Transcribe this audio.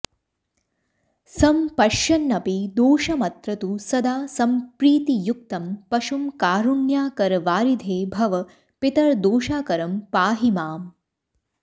सम्पश्यन्नपि दोषमत्र तु सदा सम्प्रीतियुक्तं पशुं कारुण्याकरवारिधे भव पितर्दोषाकरं पाहि माम्